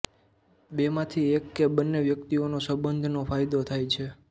બેમાંથી એક કે બંને વ્યક્તિઓને સંબંધનો ફાયદો થાય છે